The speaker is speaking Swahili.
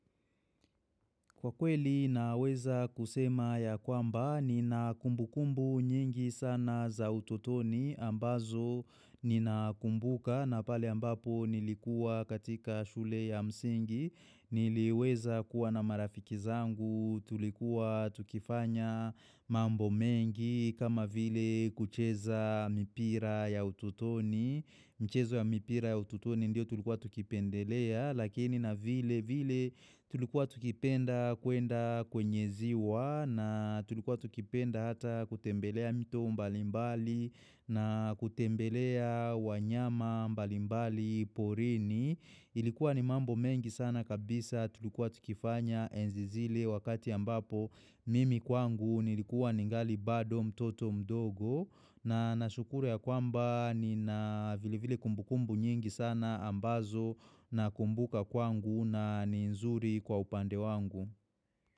Kwa kweli naweza kusema ya kwamba nina kumbu kumbu nyingi sana za ututoni ambazo nina kumbuka na pale ambapo nilikua katika shule ya msingi niliweza kuwa na marafiki zangu tulikuwa tukifanya mambo mengi kama vile kucheza mipira ya ututoni. Michezo ya mipira ya ututoni ndio tulikuwa tukipendelea lakini na vile vile tulikuwa tukipenda kuenda kwenye ziwa na tulikuwa tukipenda hata kutembelea mto mbalimbali na kutembelea wanyama mbalimbali porini. Ilikuwa ni mambo mengi sana kabisa tulikuwa tukifanya enzi zile wakati ambapo mimi kwangu nilikuwa ningali bado mtoto mdogo na nashukuru ya kwamba ni na vile vile kumbukumbu nyingi sana ambazo na kumbuka kwangu na ni nzuri kwa upande wangu.